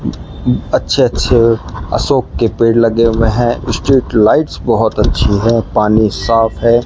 अच्छे अच्छे अशोक के पेड़ लगे हुए हैं स्ट्रीट लाइट्स बहुत अच्छी हैं पानी साफ है।